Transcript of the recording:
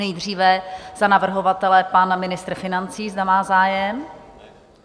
Nejdříve za navrhovatele pan ministr financí, zda má zájem?